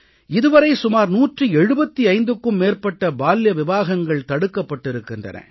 இது வரை சுமார் 175க்கும் மேற்பட்ட பால்ய விவாஹங்கள் தடுக்கப்பட்டிருக்கின்றன